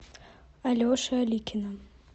алеши аликина